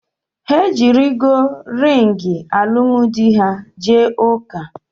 Ha ejirọ ringị alụmdi ha jee ụka